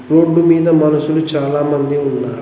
Road మీద మనుషులు చాలామంది ఉన్నారు.